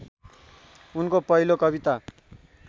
उनको पहिलो कविता